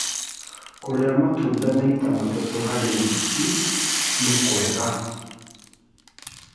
Kũrĩa matũnda maĩta matatũ harĩ wĩkĩ nĩkwega